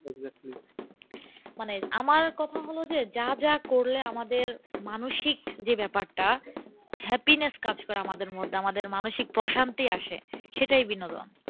মানে আমার কথা হলো যে যা যা করলে আমাদের মানসিক যে ব্যাপারটা happiness কাজ করে আমাদের মধ্যে আমাদের মানসিক প্রশান্তি আসে সেটাই বিনোদন।